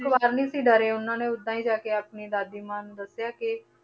ਇੱਕ ਵਾਰ ਨੀ ਸੀ ਡਰੇ ਉਹਨਾਂ ਨੇ ਓਦਾਂ ਹੀ ਜਾ ਕੇ ਆਪਣੀ ਦਾਦੀ ਮਾਂ ਨੂੰ ਦੱਸਿਆ ਕਿ